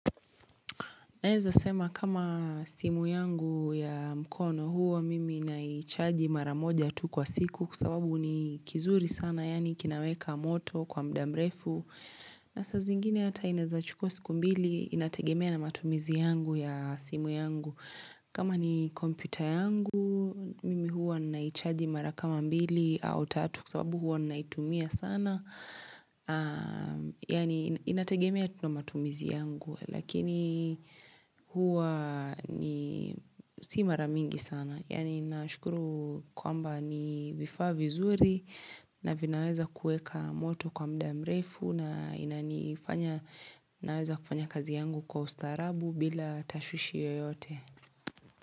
Naeza sema kama simu yangu ya mkono huwa mimi inaichaji mara moja tu kwa siku kwa sababu ni kizuri sana yaani kinaweka moto kwa muda mrefu. Na saa zingine hata inaeza chukua siku mbili inategemea na matumizi yangu ya simu yangu. Kama ni kompyuta yangu mimi huwa naichaji mara kama mbili au tatu kwa sababu huwa ninaitumia sana. Yaani inategemea tu na matumizi yangu. Lakini huwa ni si mara mingi sana Yani ninashukuru kwamba ni vifaa vizuri Navinaweza kuweka moto kwa muda mrefu na naweza kufanya kazi yangu kwa ustaarabu bila tashwishi yoyote.